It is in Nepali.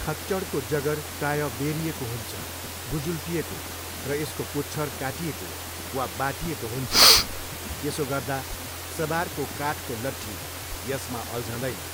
खच्चडको जगर प्रायः बेह्रिएको हुन्छ, गुजुल्टिएको, र यसको पुच्छर काटिएको वा बाटिएको हुन्छ, यसो गर्दा सवारको काठको लठ्ठी यसमा अल्झँदैन।